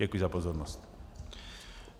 Děkuji za pozornost.